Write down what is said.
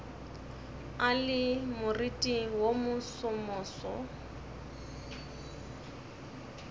a le moriting wo mosomoso